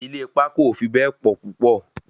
Ilé pákó ò fi bẹ́ẹ̀ pọ̀ púpọ̀